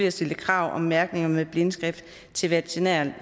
at stille krav om mærkning med blindskrift til veterinære